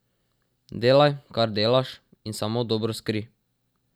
Delaj, kar delaš, in samo dobro skrij.